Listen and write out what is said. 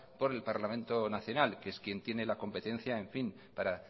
por el parlamento nacional que es quien tiene la competencia para